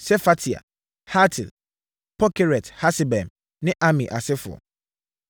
Sefatia, Hatil, 1 Pokeret-Hasebaim ne Ami asefoɔ, 1